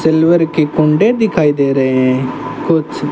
silver की कुंडी दिखाई दे रहे हैं कुछ--